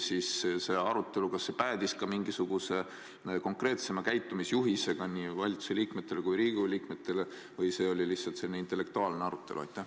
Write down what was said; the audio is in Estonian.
Kas see arutelu päädis ka mingisuguse konkreetsema käitumisjuhisega nii valitsuse liikmetele kui ka Riigikogu liikmetele või oli see lihtsalt selline intellektuaalne arutelu?